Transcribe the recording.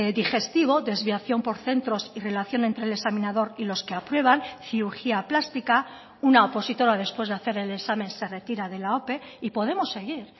digestivo desviación por centros y relación entre el examinador y los que aprueban cirugía plástica una opositora después de hacer el examen se retira de la ope y podemos seguir